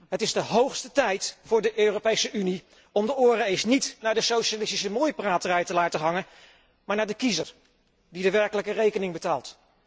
Het is de hoogste tijd voor de Europese Unie om de oren eens niet naar de socialistische mooipraterij te laten hangen, maar naar de kiezer die de werkelijke rekening betaalt.